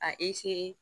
A